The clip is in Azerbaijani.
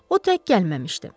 O tək gəlməmişdi.